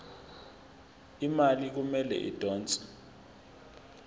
imali kumele idonswe